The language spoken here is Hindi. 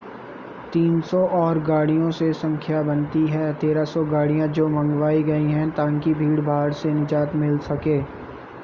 300 और गाड़ियों से संख्या बनती हैं 1,300 गाडियाँ जो मंगवाई गई हैं ै ताकिें भीड़भाड़ से निजात मिल सके।